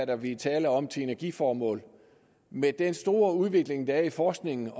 kan blive tale om til energiformål med den store udvikling der er i forskningen